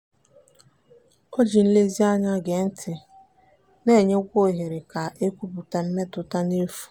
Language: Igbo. o ji nlezianya gee ntị na-enyekwa ohere ka e kwupụta mmetụta n'efu.